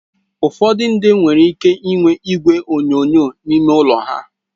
Ụfọdụ ndị nwere ike inwe igwe onyonyo n'ime ụlọ ha.